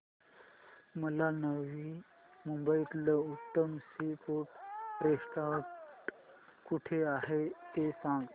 मला नवी मुंबईतलं उत्तम सी फूड रेस्टोरंट कुठे आहे ते सांग